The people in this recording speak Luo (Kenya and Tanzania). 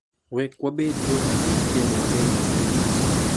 ‘Wek wabed jo adier kendo wabed gi winjruok.